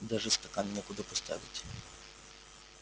даже стакан некуда поставить